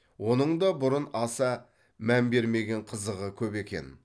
оның да бұрын аса мән бермеген қызығы көп екен